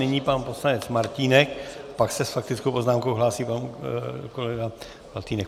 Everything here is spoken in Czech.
Nyní pan poslanec Martínek, pak se s faktickou poznámkou hlásí pan kolega Faltýnek.